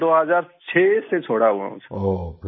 बनारस 2006 से छोड़ा हुआ हूँ सर